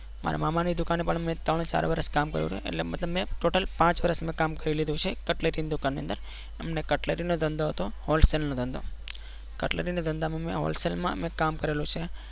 મારા મામા ની દુકાને પણ મેં ત્રણ ચાર વર્ષ કામ કરયુ છે એટલે મતલબ મેં total પાંચ વર્ષ મે કામ કરી લીધું છે કટલેથી ની દુકાન ની અંદર એમને કટલરીનો ધંધો હતો hostel નો ધંધો કટલરીના ધંધામાં મેં હોલસેલ માં કામ કરેલું છે.